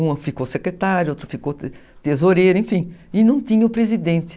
Um ficou secretário, outro ficou tesoureiro, enfim, e não tinha o presidente.